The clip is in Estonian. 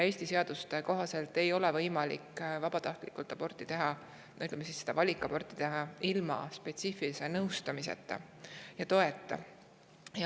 Eesti seaduste kohaselt ei ole võimalik vabatahtlikult aborti teha või, ütleme, valikaborti teha ilma spetsiifilise nõustamiseta.